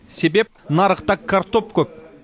себеп нарықта картоп көп